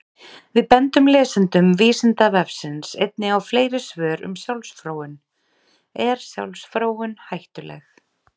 Við bendum lesendum Vísindavefsins einnig á fleiri svör um sjálfsfróun: Er sjálfsfróun hættuleg?